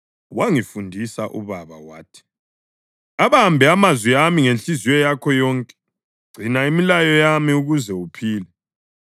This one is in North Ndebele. wangifundisa ubaba wathi, “Abambe amazwi ami ngenhliziyo yakho yonke; gcina imilayo yami ukuze uphile.